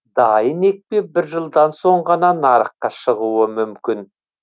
дайын екпе бір жылдан соң ғана нарыққа шығуы мүмкін